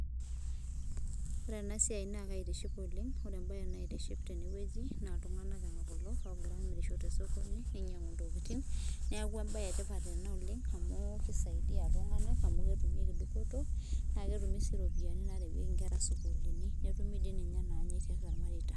ore ena siai na kaitiship oleng, ore ebae naitiship teneweuji na iltungana ongira amirisho tosokoni, neinyiangu intokitin niaku embae etipat ena oleng amu kisaidia iltungana amu ketumieki dupoto, na ketumi si iropiani narewieki inkera isukulini netumi si inanyae tiatua ilmareita.